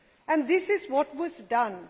And this is what was done.